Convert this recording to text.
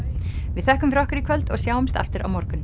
við þökkum fyrir okkur í kvöld og sjáumst aftur á morgun